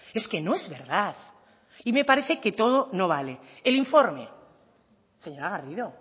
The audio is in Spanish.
es que no es verdad y me parece que todo no vale el informe señora garrido